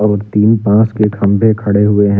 और तीन बॉस के खंभे खड़े हुए हैं।